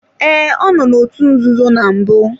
Ee, ọ nọ n'otu nzuzo na mbụ.